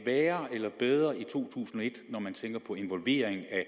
værre eller bedre i to tusind og et når man tænker på involvering af